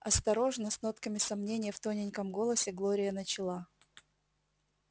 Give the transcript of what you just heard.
осторожно с нотками сомнения в тоненьком голосе глория начала